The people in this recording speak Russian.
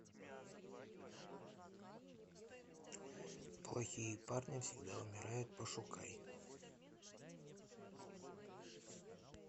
плохие парни всегда умирают пошукай